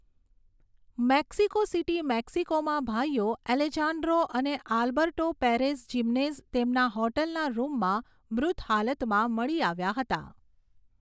Mexico City, મેક્સિકોમાં ભાઈઓ Alejandro અને આલ્બર્ટો પેરેઝ જિમેનેઝ તેમના હોટલના રૂમમાં મૃત હાલતમાં મળી આવ્યાં હતાં.